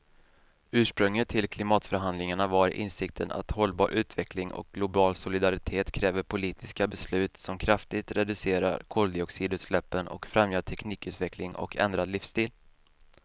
Ursprunget till klimatförhandlingarna var insikten att hållbar utveckling och global solidaritet kräver politiska beslut som kraftigt reducerar koldioxidutsläppen och främjar teknikutveckling och ändrad livsstil.